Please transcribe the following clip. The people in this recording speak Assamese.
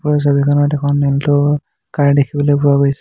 ওপৰৰ ছবিখনত এখন আলট' কাৰ দেখিবলৈ পোৱা গৈছে।